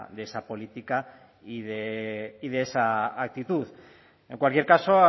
de esa política y de esa actitud en cualquier caso